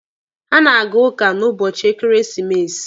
Ha na-aga ụka n'ụbọchị ekeresimesi.